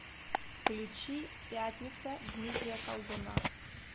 включи пятница дмитрия колдуна